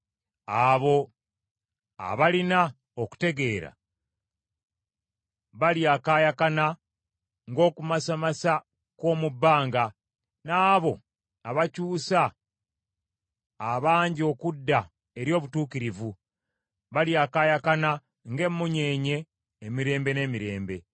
Abo abalina okutegeera balyakaayakana ng’okumasamasa kw’omu bbanga; n’abo abakyusa abangi okudda eri obutuukirivu, balyakaayakana ng’emmunyeenye emirembe n’emirembe.